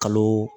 Kalo